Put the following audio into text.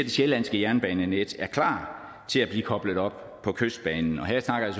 sjællandske jernbanenet er klar til at blive koblet op på kystbanen og her snakker jeg